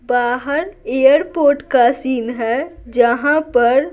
बाहर एयरपोर्ट का सीन है जहाँ पर--